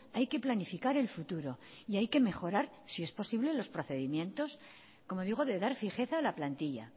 hay que planificar el futuro y hay que mejorar si es posible los procedimientos como digo de dar fijeza a la plantilla